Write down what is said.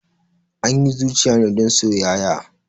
Anyi zuciya ne don soyaya